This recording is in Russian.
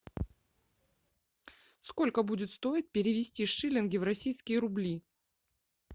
сколько будет стоить перевести шиллинги в российские рубли